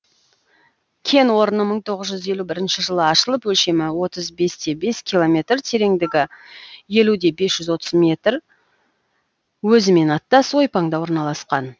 кен орны мың тоғыз жүз елу бірінші жылы ашылып өлшемі отыз бесте бес километр тереңдігі елуде бес жүз отыз метр өзімен аттас ойпаңда орналасқан